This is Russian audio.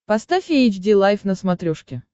поставь эйч ди лайф на смотрешке